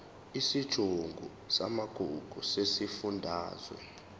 isigungu samagugu sesifundazwe